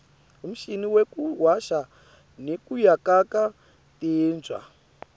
umshini wekuwasha nekuyakata titja